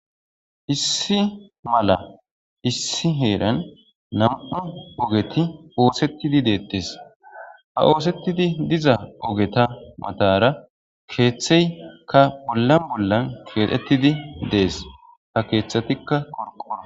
Issi mala issi heeran nam'u ogeti oosettidi deettes ha oosettidi diza ogeta matara keeththeykka bolla bollan keexettidi dees ha keeththatikka qorqora.